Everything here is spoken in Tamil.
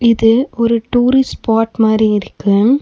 இது ஒரு டூரிஸ்ட் ஸ்பாட் மாரி இருக்கு.